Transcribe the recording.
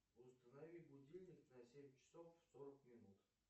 установи будильник на семь часов сорок минут